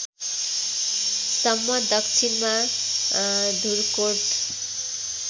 सम्म दक्षिणमा धुर्कोट